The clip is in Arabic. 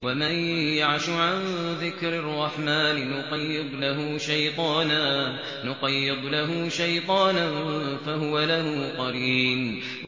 وَمَن يَعْشُ عَن ذِكْرِ الرَّحْمَٰنِ نُقَيِّضْ لَهُ شَيْطَانًا فَهُوَ لَهُ قَرِينٌ